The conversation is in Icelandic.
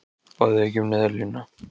Báðuð þið ekki um neyðarlán?